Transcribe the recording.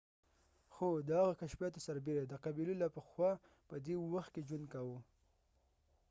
خو د هغه د کشفیاتو سربیره د eskimo قبیلو لا پخوا پدې وخت کې ژوند کوه